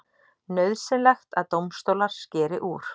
Nauðsynlegt að dómstólar skeri úr